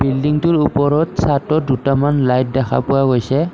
Building টোৰ ওপৰত চাদত দুটামান লাইট দেখা গৈছে।